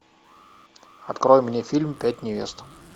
открой мне фильм пять невест